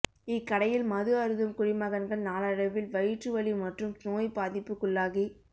இக்கடையில் மது அருந்தும் குடிமகன்கள் நாளடைவில் வயிற்று வலி மற்றும் நோய் பாதிப்புக்குள்ளாகி